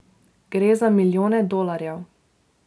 Gre za milijone dolarjev.